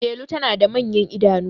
Delu tana da manyan idanu